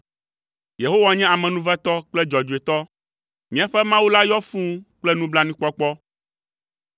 Yehowa nye amenuvetɔ kple dzɔdzɔetɔ; míaƒe Mawu la yɔ fũu kple nublanuikpɔkpɔ.